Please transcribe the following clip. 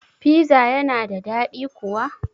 Piza yana da dadi kuwa?